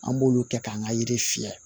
An b'olu kɛ k'an ka yiri fiyɛ